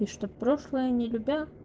и чтобы прошлое не любя